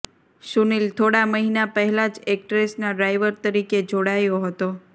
સુનિલ થોડા મહિના પહેલા જ એક્ટ્રેસના ડ્રાઇવર તરીકે જોડાયો હતો